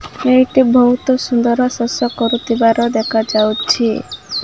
ଏଇଠି ବହୁତ ସୁନ୍ଦର ଶସ୍ୟ କରୁଥିବାର ଦେଖାଯାଉଛି।